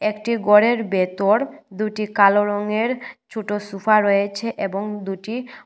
একটি গরের বেতর দুইটি কালো রঙের ছোট সোফা রয়েছে এবং দুইটি--